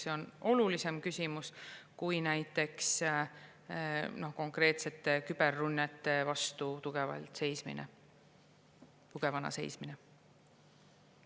See on olulisem küsimus kui näiteks konkreetsete küberrünnete vastu tugevana seismine.